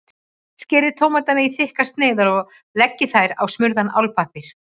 Skerið tómatana í þykkar sneiðar og leggið þær á smurðan álpappír.